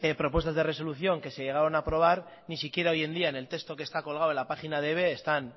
propuestas de resolución que se llegaron a aprobar ni siquiera hoy en día en el texto que está colgado en la página de eve